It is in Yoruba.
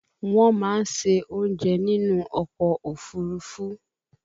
Wọ́n máa ń se oúnjẹ nínú ọkọ̀ òfúrufú